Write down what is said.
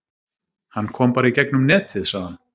Hann kom bara í gegnum netið sagði hann.